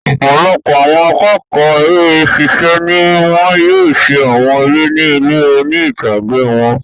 Ọ̀pọlọpọ̀ àwọn akẹ́kọ̀ọ́ eré ṣiṣẹ́ ni wọ́n yóò ṣe àwọn eré ni ilé oní-ìtàgé wọn.